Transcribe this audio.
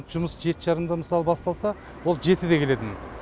жұмыс жеті жарымда мысалы басталса ол жетіде келетін